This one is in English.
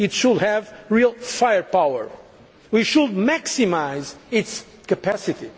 It should have real firepower. We should maximise its capacity.